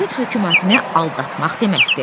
Bu Sovet hökumətini aldatmaq deməkdir.